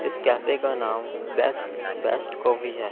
इस कैफे का नाम बेस्ट बेस्ट कॉफी है।